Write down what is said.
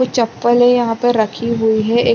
कुछ चप्पलें यहाँ पर रखी हुई है। एक--